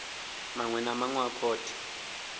maṅwe na maṅwe a khothe